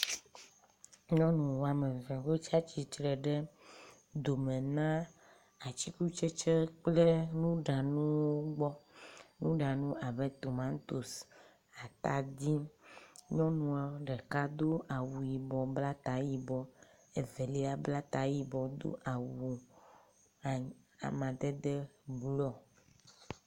Nyɔnu wɔme eve wotsi atsitre ɖe dome na atikutsetse kple nuɖanuwo gbɔ. Nuɖanuwo abe; tomatosi, atadi. Nyɔnua ɖeka do awu yibɔ bla ta yibɔ. Evelia bla ta yibɔ do awu amadede blɔ.